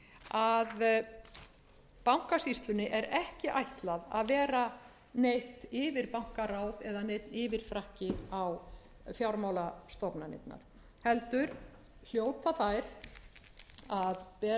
að eigendastefnu að b bankasýslunni er ekki ætlað að vera neitt yfirbankaráð eða neinn yfirfrakki á fjármálastofnanirnar heldur hljóta þær að bera